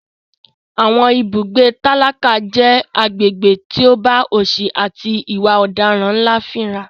Àwọn ibùgbé tálákà jẹ́ agbègbè tó bá òsì àti ìwà ọ̀daràn ńlá fínra.